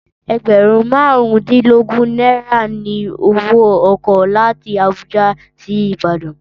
Ẹgbẹ̀rún marun dínlógún náírà ni owó ọkọ̀ láti Abuja sí Ìbàdàn